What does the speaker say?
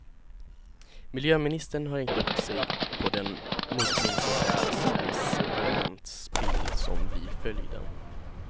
Miljöministern har hängt upp sig på den muddring som krävs och det sedimentspill som blir följden.